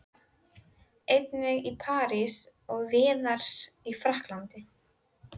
Einnig í París og víðar í Frakklandi.